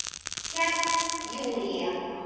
Hélt Júlía.